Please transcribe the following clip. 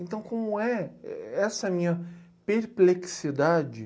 Então como é, essa é a minha perplexidade?